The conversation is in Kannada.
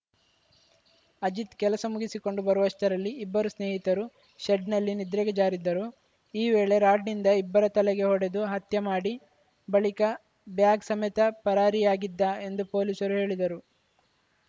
ಅಜಿತ್‌ ಕೆಲಸ ಮುಗಿಸಿಕೊಂಡು ಬರುವಷ್ಟರಲ್ಲಿ ಇಬ್ಬರು ಸ್ನೇಹಿತರು ಶೆಡ್‌ನಲ್ಲಿ ನಿದ್ರೆಗೆ ಜಾರಿದ್ದರು ಈ ವೇಳೆ ರಾಡ್‌ನಿಂದ ಇಬ್ಬರ ತಲೆಗೆ ಹೊಡೆದು ಹತ್ಯೆ ಮಾಡಿ ಬಳಿಕ ಬ್ಯಾಗ್‌ ಸಮೇತ ಪರಾರಿಯಾಗಿದ್ದ ಎಂದು ಪೊಲೀಸರು ಹೇಳಿದರು